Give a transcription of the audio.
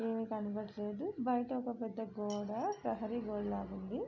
ఏమీ కనపడుటలేదు బయట ఒక పెద్ద గోడ ప్రహరీ గోడ లాగా ఉంది.